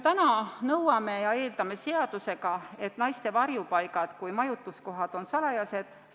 Täna me nõuame seadusega ja eeldame, et naiste varjupaigad kui majutuskohad on salajased.